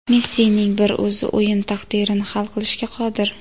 Messining bir o‘zi o‘yin taqdirini hal qilishga qodir.